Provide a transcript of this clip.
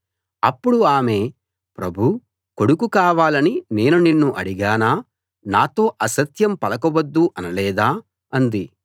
అప్పుడు ఆమె ప్రభూ కొడుకు కావాలని నేను నిన్ను అడిగానా నాతో అసత్యం పలుక వద్దు అనలేదా అంది